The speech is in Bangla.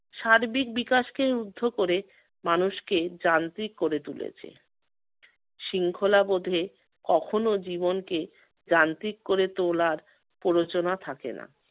সার্বিক বিকাশকে রুদ্ধ করে মানুষকে যান্ত্রিক করে তুলেছে। শৃঙ্খলাবোধে কখনো জীবনকে যান্ত্রিক করে তোলার প্ররোচনা থাকে না।